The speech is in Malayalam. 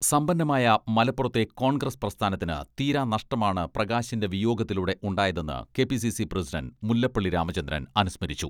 സമ്പന്നമായ മലപ്പുറത്തെ കോൺഗ്രസ് പ്രസ്ഥാനത്തിന് തീരാ നഷ്ടമാണ് പ്രകാശിന്റെ വിയോഗത്തിലൂടെ ഉണ്ടായതെന്ന് K P C C president Mullappally Ramachandran അനുസ്മരിച്ചു.